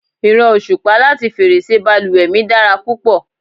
ìran osupa lati ferese baluwe mi dara púpọ̀